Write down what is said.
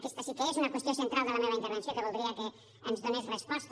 aquesta sí que és una qüestió central de la meva intervenció que voldria que ens hi donés resposta